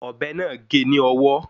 Ọ̀bẹ náà gé e ni ọwọ́